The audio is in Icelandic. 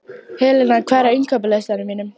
Helena, hvað er á innkaupalistanum mínum?